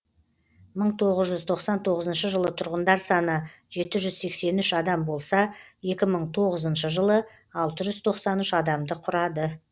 мың тоғыз жүз тоқсан тоғызыншы жылы тұрғындар саны жеті жүз сексен үш адам болса екі мың тоғызыншы жылы алты жүз тоқсан үш адамды құрады